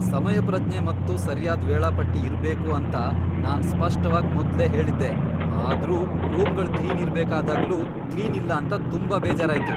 ಸಮಯಪ್ರಜ್ಞೆ ಮತ್ತು ಸರ್ಯಾದ್ ವೇಳಾಪಟ್ಟಿ ಇರ್ಬೇಕು ಅಂತ ನಾನು ಸ್ಪಷ್ಟವಾಗ್ ಮೊದ್ಲೇ ಹೇಳಿದ್ದೆ, ಆದ್ರೂ ರೂಮ್ಗಳ್ ಕ್ಲೀನ್ ಇರಬೇಕಾದಾಗ್ಲೂ ಕ್ಲೀನ್ ಇಲ್ಲ ಅಂತ ತುಂಬಾ ಬೇಜಾರಾಯ್ತು. !